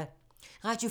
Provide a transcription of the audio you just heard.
Radio 4